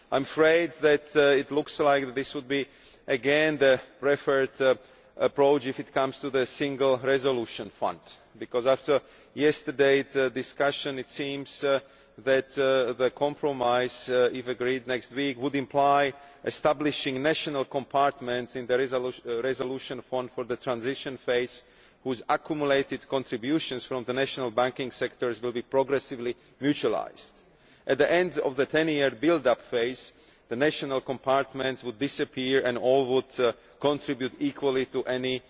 I am afraid that it looks as though this would again be the preferred approach when it comes to the single resolution fund, because after yesterdayʼs discussion it seems that the compromise, if agreed next week, would imply establishing national compartments in the resolution fund for the transition phase, with these accumulated contributions from the national banking sectors being progressively mutualised. At the end of the ten year build up phase, the national compartments would disappear and all would contribute equally to any